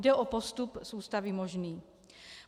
Jde o postup z Ústavy možný.